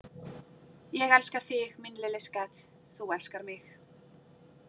Ég elska þig, min lille skat, þú elskar mig